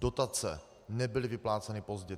Dotace nebyly vypláceny pozdě.